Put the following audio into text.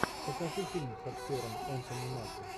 покажи фильм с актером энтони маки